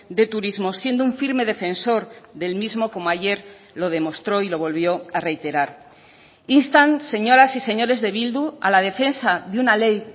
de turismo siendo un firme defensor del mismo como ayer lo demostró y lo volvió a reiterar instan señoras y señores de bildu a la defensa de una ley